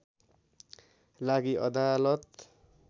लागि अदालत